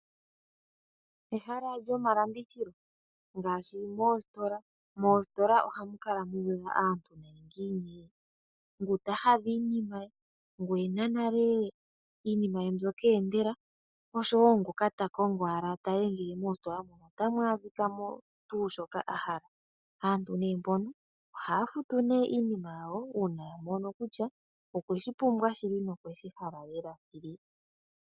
Ehala lyomalandithilo ngaashi oositola. Moositola ohamu kala mu na aantu oyendji yi ila mo iinima. Ngu ta hadha iinima ye, ngu e na nale iinima ye mbyoka eendela nosho wo ngoka ta kongo owala moositola a tale ngele ota adha mo tuu shoka a hala. Aantu mbano ohaya futu nee iinima yawo uuna a mono kutya okwe shi pumbwa shili nokwe shi hala shili.